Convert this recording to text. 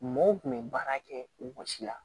Mɔw kun bɛ baara kɛ wɔsi la